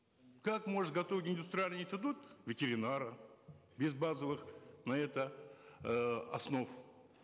как может готовить индустриальный институт ветеринара без базовых на это э основ